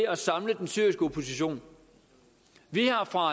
at samle den syriske opposition vi har fra